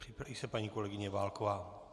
Připraví se paní kolegyně Válková.